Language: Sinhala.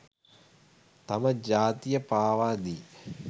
තම ජාතිය පාවාදී